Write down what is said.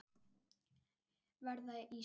Verða ískur.